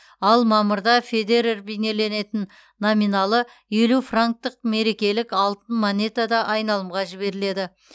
ал мамырда федерер бейнеленетін номиналы елу франктық мерекелік алтын монета да айналымға жіберіледі